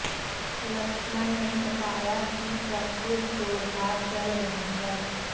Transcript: लक्ष्मण ने बताया कि प्रैक्टिस जोरदार चल रही है